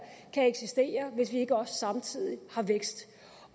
kan eksistere hvis vi ikke også samtidig har vækst